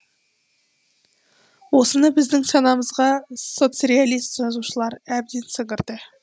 осыны біздің санамызға соцреалист жазушылар әбден сіңірді